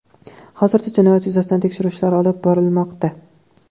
Hozirda jinoyat yuzasidan tekshiruv ishlari olib borilmoqda.